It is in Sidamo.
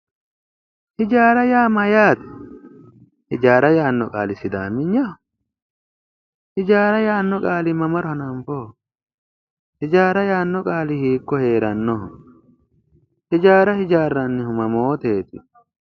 Hijaara yaa mayate, hijaara yaano qaali sidaamenyaho, hijaara yaano qaali mamaro hananfoho ,hijaara yaano qaali hiikko heeranoho, hijaara hijaaranihu mamoteti